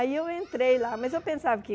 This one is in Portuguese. Aí eu entrei lá, mas eu pensava que